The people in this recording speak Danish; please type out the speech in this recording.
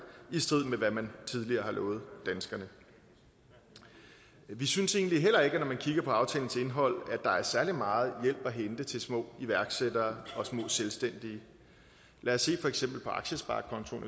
i strid med hvad man tidligere har lovet danskerne vi synes egentlig heller ikke at man kigger på aftalens indhold er særlig meget hjælp at hente til små iværksættere og små selvstændige lad os for eksempel se på aktiesparekontoen